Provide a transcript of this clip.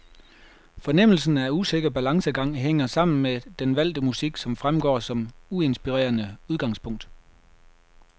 Fornemmelsen af usikker balancegang hænger sammen med den valgte musik, som fremstår som uinspirerende udgangspunkt.